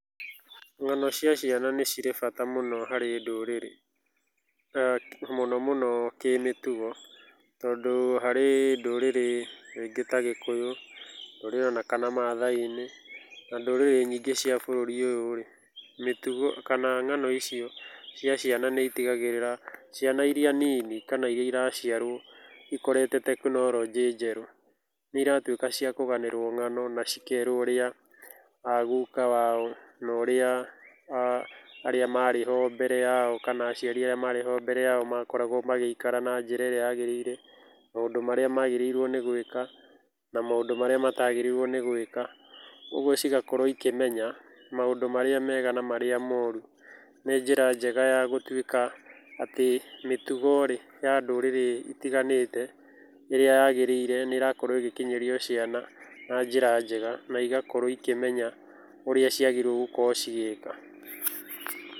Ng'ano cia ciana nĩirĩ bata mũno harĩ ndũrĩrĩ mũno mũno kĩmĩtugo tondũ harĩ ndũrĩrĩ rĩngĩ ta Gĩkũyũ ona kana mathai-inĩ na ndũrĩrĩ nyingĩ cia bũrũri ũyũ rĩ, mĩtugo kana ng'ano icio cia ciana nĩ itigagĩrĩra ciana iria nini iria iraciarwo ikorete tekinoronjĩ njerũ, nĩ iratuĩka cia kũganĩrwo ng'ano na cikerwo ũrĩa a guka wao na ũrĩa arĩa marĩ ho mbere yao kana aciari arĩa marĩho mbere yao makoragwo magĩikara na njĩra yagĩrĩire, maũndũ marĩa magĩrirwo nĩ gwĩka na maũndũ marĩa matagĩrĩirwo nĩ gwĩka ũguo cigakorwo ikĩmenya maũndũ marĩa mega na marĩa moru, nĩ njĩra njega ya gũtuĩka atĩ mĩtugo rĩ ya ndũrĩrĩ itiganĩte ĩrĩa yagĩrĩire nĩrakorwo ĩgĩkinyĩra ciana na njĩra njega na igakorwo ikĩmenya ũrĩa ciagĩrĩirwo gũkorwo cigĩka.